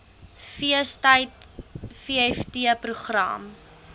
feestyd vft program